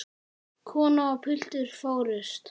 Kona og piltur fórust.